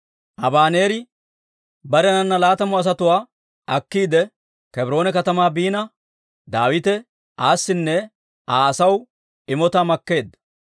Abaneeri barenana laatamu asatuwaa akkiide, Kebroone katamaa biina, Daawite aasinne Aa asaw imotaa makkeedda.